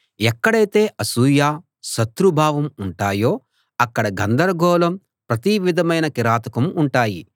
ఎక్కడైతే అసూయ శత్రుభావం ఉంటాయో అక్కడ గందరగోళం ప్రతి విధమైన కిరాతకం ఉంటాయి